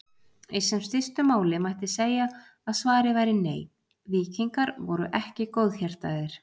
Í sem stystu máli mætti segja að svarið væri nei, víkingar voru ekki góðhjartaðir.